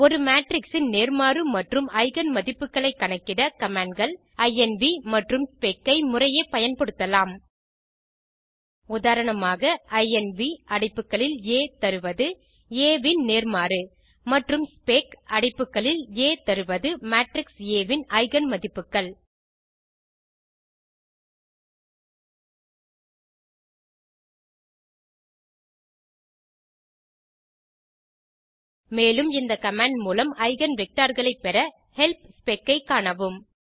ஒரு மேட்ரிக்ஸ் இன் நேர்மாறு மற்றும் எய்கென் மதிப்புகளை கணக்கிட commandகள் இன்வ் மற்றும் ஸ்பெக் ஐ முறையே பயன்படுத்தலாம் உதாரணமாக160 இன்வ் அடைப்புகளில் ஆ தருவது ஆ ன் நேர்மாறு மற்றும் ஸ்பெக் அடைப்புகளில் ஆ தருவது மேட்ரிக்ஸ் ஆ ன் எய்கென் மதிப்புகள் மேலும் இந்த கமாண்ட் மூலம் eigenvectorகளை பெற ஹெல்ப் ஸ்பெக் ஐ காணவும்